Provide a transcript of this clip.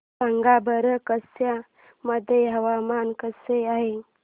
सांगा बरं कच्छ मध्ये हवामान कसे आहे